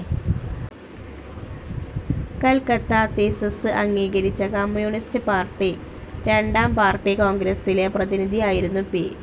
Calcutta thesis അഗീകരിച്ച communist party രണ്ടാം party കോൺഗ്രസ്സിലെ പ്രതിനിധിയായിരുന്നു പി.